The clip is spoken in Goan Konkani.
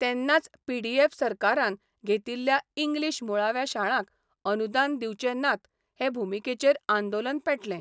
तेन्नाच पीडीएफ् सरकारान घेतिल्ल्या इंग्लिश मुळाव्या शाळांक अनुदान दिवचे नात हे भुमिकेचेर आंदोलन पेटलें.